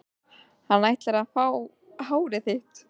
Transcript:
Hann ætlar að fá hárið þitt.